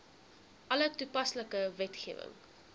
alle toepaslike wetgewing